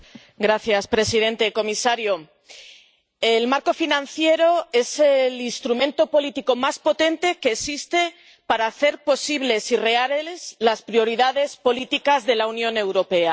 Señor presidente, señor comisario, el marco financiero es el instrumento político más potente que existe para hacer posibles y reales las prioridades políticas de la Unión Europea.